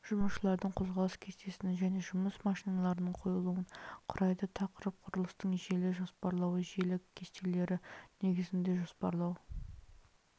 жұмысшылардың қозғалыс кестесін және жұмыс машиналарының қойылуын құрайды тақырып құрылыстың желі жоспарлауы желі кестелері негізінде жоспарлау